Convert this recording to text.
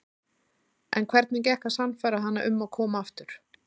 En hvernig gekk að sannfæra hana um að koma aftur?